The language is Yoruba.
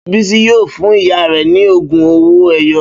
Bísí yóò fún ìyá rẹ̀ ní ogún owó-ẹyọ